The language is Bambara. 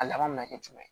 A laban mi na kɛ jumɛn ye